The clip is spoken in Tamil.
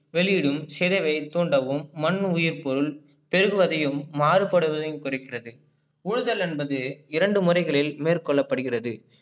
வெளியிடும் சிரவை தோண்டவும் மண் உயிர் பொருள் செய்வதையும் மாறுபடுவதையும் குறிக்கின்றது. உழுதல் என்பது இரண்டு முறைகளில் மேற்கொள்ளப்படுகிறது.